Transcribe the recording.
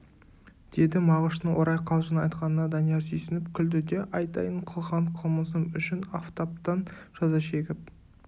деді мағыштың орай қалжың айтқанына данияр сүйсініп күлді де айтайын қылған қылмысым үшін афтаптан жаза шегіп